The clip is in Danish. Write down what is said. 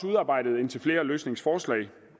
udarbejdet indtil flere løsningsforslag